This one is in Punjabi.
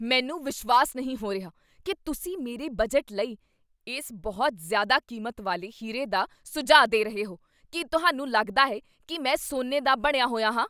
ਮੈਨੂੰ ਵਿਸ਼ਵਾਸ ਨਹੀਂ ਹੋ ਰਿਹਾ ਕੀ ਤੁਸੀਂ ਮੇਰੇ ਬਜਟ ਲਈ ਇਸ ਬਹੁਤ ਜ਼ਿਆਦਾ ਕੀਮਤ ਵਾਲੇ ਹੀਰੇ ਦਾ ਸੁਝਾਅ ਦੇ ਰਹੇ ਹੋ! ਕੀ ਤੁਹਾਨੂੰ ਲੱਗਦਾ ਹੈ ਕੀ ਮੈਂ ਸੋਨੇ ਦਾ ਬਣਿਆ ਹੋਇਆ ਹਾਂ?